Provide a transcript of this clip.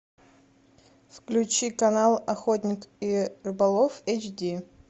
включи канал охотник и рыболов эйч ди